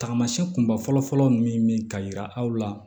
Tagamasɛn kunba fɔlɔ fɔlɔ min ka yira aw la